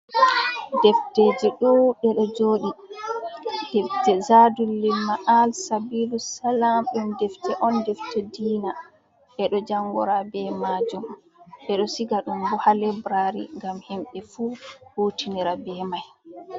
Defteji ɗo ɗeɗo joɗi zadulimaal sabiru salam ɗum defte on defte diina, ɓeɗo jangora be majum ɓeɗo siga ɗum bo ha liberari ngam himɓe fu hutinira be mai.